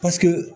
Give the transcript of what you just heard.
Paseke